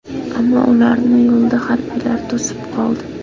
Ammo ularni yo‘lda harbiylar to‘sib qoldi.